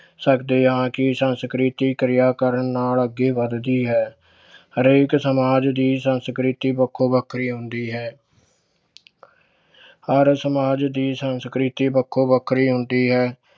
ਸਕਦੇ ਹਾਂ ਕਿ ਸੰਸਕ੍ਰਿਤੀ ਕਿਰਿਆ ਕਰਨ ਨਾਲ ਅੱਗੇ ਵੱਧਦੀ ਹੈ ਹਰੇਕ ਸਮਾਜ ਦੀ ਸੰਸਕ੍ਰਿਤੀ ਵੱਖੋ ਵੱਖਰੀ ਹੁੰਦੀ ਹੈ ਹਰ ਸਮਾਜ ਦੀ ਸੰਸਕ੍ਰਿਤੀ ਵੱਖੋ ਵੱਖਰੀ ਹੁੰਦੀ ਹੈ।